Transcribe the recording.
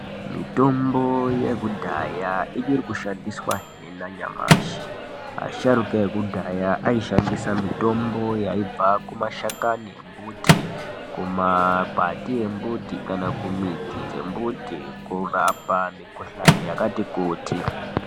Mitombo ye kudhaya ichiri kushandiswahe nanyamashi. Asharuka ekudhaya aishandisa mitombo yaiva kumashakanyi embuti, makwati embuti kana midzi dzembuti, kurapa mukhuhlani yakati kuti.